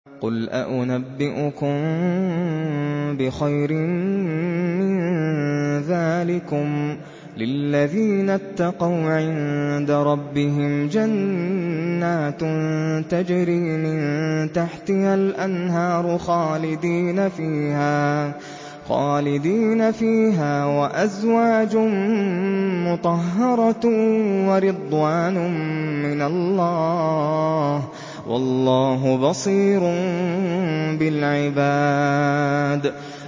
۞ قُلْ أَؤُنَبِّئُكُم بِخَيْرٍ مِّن ذَٰلِكُمْ ۚ لِلَّذِينَ اتَّقَوْا عِندَ رَبِّهِمْ جَنَّاتٌ تَجْرِي مِن تَحْتِهَا الْأَنْهَارُ خَالِدِينَ فِيهَا وَأَزْوَاجٌ مُّطَهَّرَةٌ وَرِضْوَانٌ مِّنَ اللَّهِ ۗ وَاللَّهُ بَصِيرٌ بِالْعِبَادِ